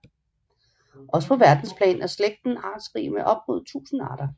Også på verdensplan er slægten artsrig med op mod 1000 arter